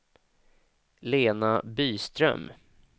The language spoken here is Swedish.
Lena Byström